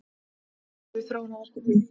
Mörg störf í þróunarverkefnum